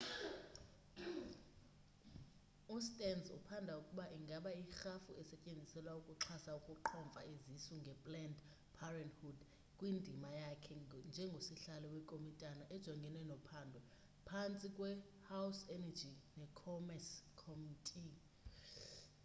ustearns uphanda ukuba ingaba irhafu isetyenziselwa ukuxhasa ukuqhomfa izisu nge-planned parenthood kwindima yakhe njengosihlalo wekomitana ejongene nophando ephantsi kwe-house energy ne commerce committe